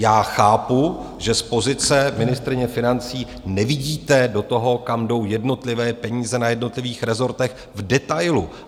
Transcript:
Já chápu, že z pozice ministryně financí nevidíte do toho, kam jdou jednotlivé peníze na jednotlivých rezortech v detailu.